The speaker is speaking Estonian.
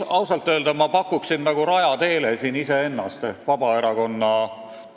Ausalt öelda ma pakuksin siin nagu Raja Teele välja iseennast ehk Vabaerakonna panust.